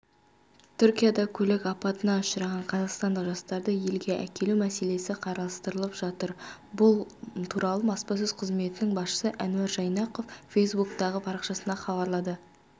түркияда көлік апатына ұшыраған қазақстандық жастарды елге әкелу мәселесі қарастырылып жатыр бұл туралы баспасөз қызметінің басшысы әнуар жайнақов фейсбуктағы парақшасында хабарлады